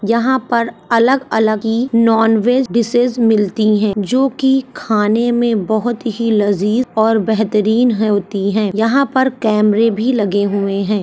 यहाँ पर अलग अलग ही नॉनवेज डिशेज मिलती हैं जोकि खाने में बहुत ही लजीज और बेहतरीन होती हैं। यहाँ पर कैमरे भी लगे हुए हैं।